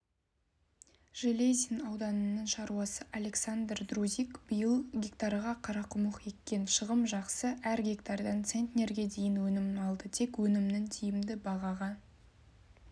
железин ауданының шаруасы александр друзик биыл гектарға қарақұмық еккен шығым жақсы әр гектардан центнерге дейін өнім алды тек өнімін тиімді бағаға